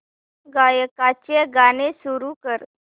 गायकाचे गाणे सुरू कर